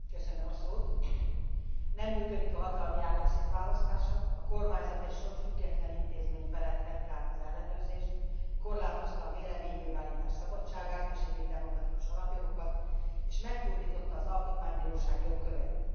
Nem működik a hatalmi ágak szétválasztása, a kormányzat egy sor független intézmény felett vette át az ellenőrzést, korlátozta a véleménynyilvánítás szabadságát és egyéb demokratikus alapjogokat, és megkurtította az Alkotmánybíróság jogköreit.